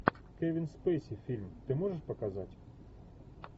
кевин спейси фильм ты можешь показать